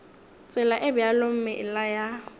tsela e bjalo meela ya